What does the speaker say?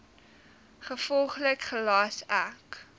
gevolglik gelas ek